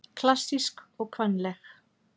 Klassísk og kvenleg